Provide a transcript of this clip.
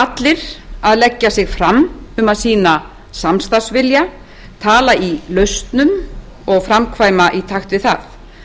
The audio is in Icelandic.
allir að leggja sig fram um að sýna samstarfsvilja tala í lausnum og framkvæma í takt við það